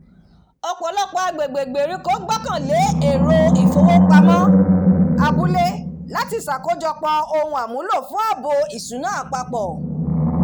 ọ̀pọ̀lọpọ̀ agbègbè ìgbèríko gbọ́kànlé èrò ifowópamọ́ abúlé láti ṣakojọpọ ohun àmúlò fún ààbò ìṣúná apapọ